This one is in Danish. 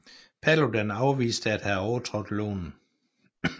Paludan afviste at have overtrådt loven